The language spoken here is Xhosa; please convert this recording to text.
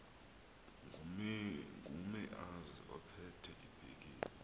ngumeazi ophethe ibhekile